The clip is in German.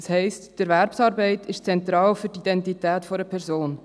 Das heisst: Die Erwerbsarbeit ist zentral für die Identität einer Person.